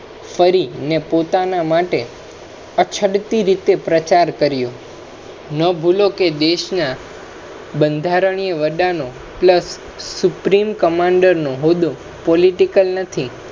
ફરી પોતાના માટે અછડપી રીતે પ્રચાર કર્યો, ન ભૂલો કે દેશા બંધારણીય વડા નો plus supreme commander નો હોદો political નથી